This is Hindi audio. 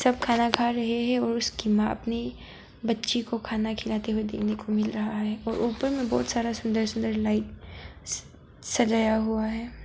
सब खाना खा रहे हैं और उसकी मां अपनी बच्ची को खाना खिलते हुए देखने को मिल रहा है और ऊपर में बहोत सारा सुंदर सुंदर लाइट स सजाया हुआ है।